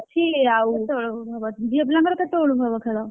ଆଉ କେତେବେଳକୁ ହବ? ଝିଅ ପିଲାଙ୍କର କେତେବେଳକୁ ହବ ଖେଳ?